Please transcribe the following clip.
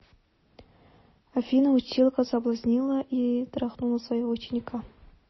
афина училка соблазнила и трахнула своего ученика